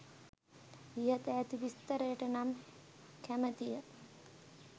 ඉහත ඇති විස්තරයට නම් කැමතිය.